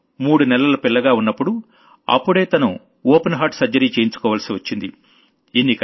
తను మూడు నెలల పిల్లగా ఉన్నప్పుడు అప్పుడే తను ఓపెన్ హార్ట్ సర్జరీ చేయించుకోవాల్సొచ్చింది